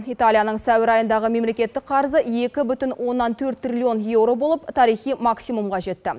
италияның сәуір айындағы мемлекеттік қарызы екі бүтін оннан төрт триллион еуро болып тарихи максимумға жетті